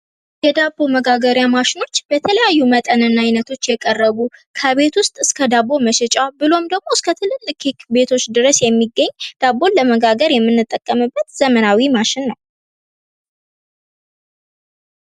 የዳቦ መጋገሪያ ማሽኖች በተለያዩ መጠንና ዓይነቶች የቀረቡ ከቤት ውስጥ እስከ ዳቦ መሸጫ ብሎም ደግሞ እስከ ትልልቅ ኬክ ቤቶች የሚገኝ ዳቦ ለመጋገር የምንጠቀምበት ዘመናዊ ማሽን ነው።